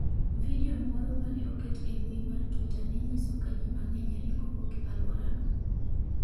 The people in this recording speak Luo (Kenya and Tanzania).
Video moro mane oket e mbui mar Twitter ne nyiso ka ji mang'eny ringo wuok aluora no.